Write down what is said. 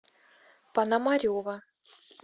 пономарева